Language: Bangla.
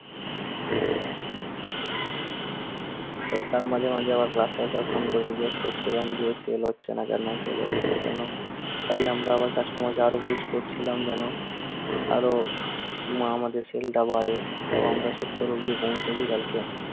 তাই তার মানে আমি আমার ফোন করে জিজ্ঞাস করছিলাম যে, sell হচ্ছে না কেন? sell হচ্ছে না কেন? তাই আমি আবার customer care জিজ্ঞাস করছিলাম যেন আরো উম আমাদের sell টা বাড়ে তাও সত্তর অব্দি পৌঁছোতে পারতাম।